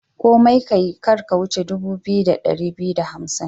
Komai kayi, kar ka wuce dubu biyu da dari biyu da hamsin.